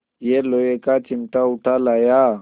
यह लोहे का चिमटा उठा लाया